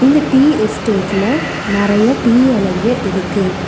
இந்த டீ எஸ்டேட்ல நறைய டீ எலைங்க இருக்கு.